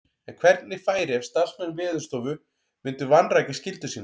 En hvernig færi ef starfsmenn Veðurstofu myndu vanrækja skyldu sína?